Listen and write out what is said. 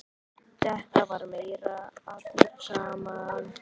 Þetta var meira allir saman.